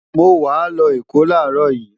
mo wàá lọ Èkó láàárọ̀ yìí